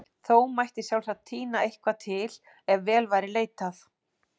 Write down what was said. Þó mætti sjálfsagt tína eitthvað til ef vel væri leitað.